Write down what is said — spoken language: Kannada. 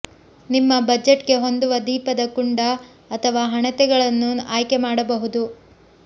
ನಿಮ್ಮ ಬಜೆಟ್ಗೆ ಹೊಂದುವ ದೀಪದ ಕುಂಡ ಅಥವಾ ಹಣತೆಗಳನ್ನು ಆಯ್ಕೆ ಮಾಡಬಹುದು